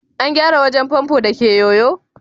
an gyara wajen famfo da ke yoyo?